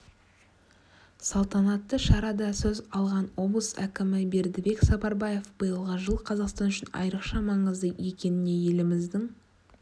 салтанатты шарада сөз алған облыс әкімі бердібек сапарбаев биылғы жыл қазақстан үшін айрықша маңызды екеніне еліміздің